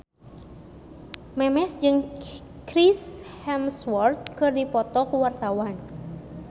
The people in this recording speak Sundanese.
Memes jeung Chris Hemsworth keur dipoto ku wartawan